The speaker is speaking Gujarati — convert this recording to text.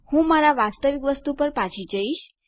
હું મારા વાસ્તવિક વસ્તુ પર પાછો જઈશ